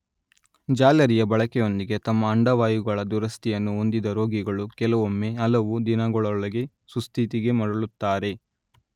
ಜಾಲರಿಯ ಬಳಕೆಯೊಂದಿಗೆ ತಮ್ಮ ಅಂಡವಾಯುಗಳ ದುರಸ್ತಿಯನ್ನು ಹೊಂದಿದ ರೋಗಿಗಳು ಕೆಲವೊಮ್ಮೆ ಹಲವು ದಿನಗಳೊಳಗೆ ಸುಸ್ಥಿತಿಗೆ ಮರಳುತ್ತಾರೆ.